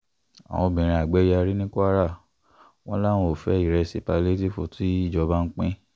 àwọn obìnrin àgbẹ̀ yarí ní kwara wọn làwọn ò fẹ́ ìrẹsì pálíétìífù tìjọba ń pín